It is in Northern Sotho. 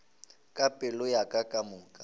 ka pelo ya ka kamoka